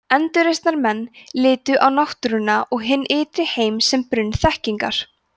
endurreisnarmenn litu á náttúruna og hinn ytri heim sem brunn þekkingar